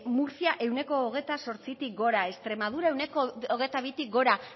murtzia ehuneko hogeita zortzitik gora extremadura ehuneko hogeita bitik gora